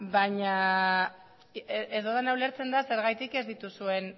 baina ez dudana ulertzen da zergatik ez dituzuen